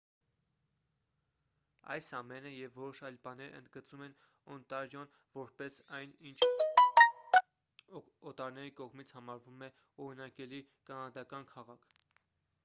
այս ամենը և որոշ այլ բաներ ընդգծում են օնտարիոն որպես այն ինչ օտարների կողմից համարվում է օրինակելի կանադական քաղաք